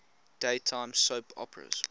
daytime soap operas